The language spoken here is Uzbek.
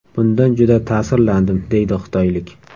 Bundan juda ta’sirlandim”, deydi xitoylik.